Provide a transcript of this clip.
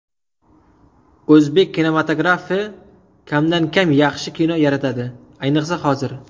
O‘zbek kinematografi kamdan-kam yaxshi kino yaratadi, ayniqsa hozir.